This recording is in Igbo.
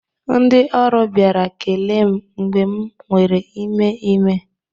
Ndị ọrụ bịara kelee m mgbe m nwere ime ime